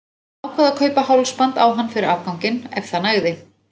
Hann ákvað að kaupa hálsband á hann fyrir afganginn, ef það nægði.